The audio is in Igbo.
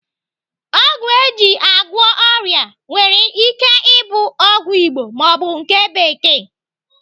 Ọgwụ eji agwọ ọrịa nwere ike ike ịbụ ọgwụ Igbo maọbụ nke bekee.